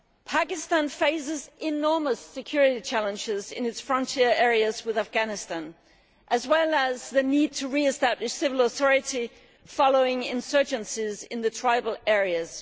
Pakistan faces enormous security challenges in its frontier areas with Afghanistan, as well as the need to re establish civil authority following insurgencies in the tribal areas.